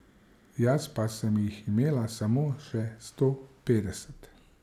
Jaz pa sem jih imela samo še sto petdeset.